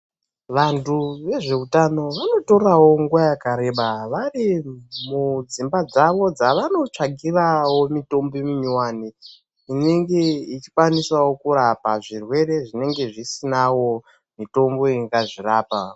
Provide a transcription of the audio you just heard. Vantu vezveutano vanotoravo nguva yakareba vari mudzimba dzavo dzavanotsvagiravo mitombo minyowani inenge ichikwanisavo kurapa zvirwere zvinenge zvisinavo mitombo ingazvirapa.